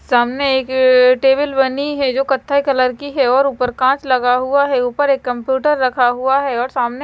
सामने एक टेबल बनी है जो कत्थई कलर की हैं और ऊपर कांच लगा हुआ है ऊपर एक कंप्यूटर रखा हुआ हैं और सामने--